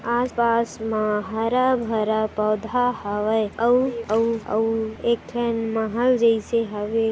आसपास मा हारा भरा पौधा हवे आउ आउ आउ एक ठन महल जाईसे हवे--